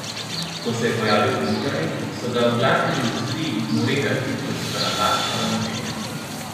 Ko se je pojavil internet, so ga v glasbeni industriji ignorirali, ker so ga napačno razumeli.